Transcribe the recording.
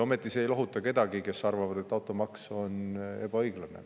Ometi ei lohuta see neid, kes arvavad, et automaks on ebaõiglane.